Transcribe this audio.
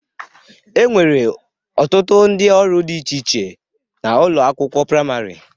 E nwere ọtụtụ ndị ọrụ dị iche iche n'ụlọ akwụkwọ prịmarị..